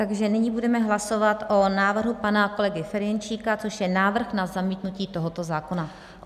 Takže nyní budeme hlasovat o návrhu pana kolegy Ferjenčíka, což je návrh na zamítnutí tohoto zákona.